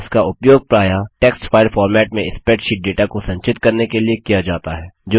इसका उपयोग प्रायः टेक्स्ट फाइल फॉर्मेट में स्प्रैडशीट डेटा को संचित करने के लिए किया जाता है